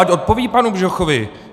Ať odpoví panu Bžochovi!